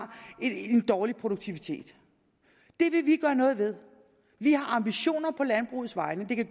en dårlig produktivitet det vil vi gøre noget ved vi har ambitioner på landbrugets vegne det kan